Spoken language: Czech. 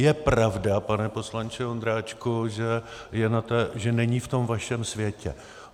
Je pravda, pane poslanče Ondráčku, že není v tom vašem světě.